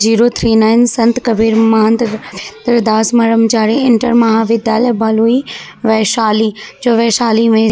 zero three nine Sant Kabir Mahant Ravindra Das Brahmachari inter महाविद्यालय भलुई वैशाली जो वैशाली में --